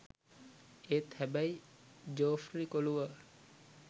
ඒත් හැබැයි ජෝෆ්රි කොලුවා